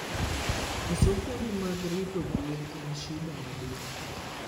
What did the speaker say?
Koso puonj mar rito gwen en shida maduong